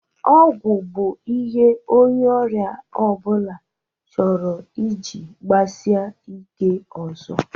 Ọgwọ bụ ihe onye ọria ọbụla chọrọ iji kpasie ike ọzọ.